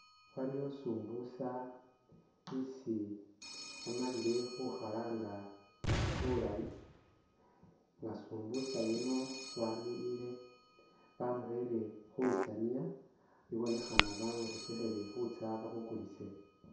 Waliwo sumbusa isi bamalile khukhalanga bulayi nga sumbusa yuno wamiliyile bamurele khulusaniya ibonekhana bamurekekhele khutsa bamukulise.